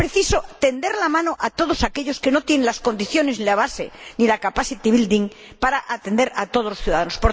Es preciso tender la mano a todos aquellos que no tienen las condiciones, ni la base ni la capacity building para atender a todos los ciudadanos.